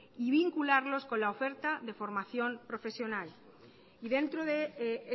y vincularlos con la oferta de formación profesional y dentro de